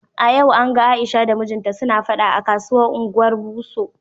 A yau an gan Aisha da mijinta suna fada a kasuwan Ungwar Buso.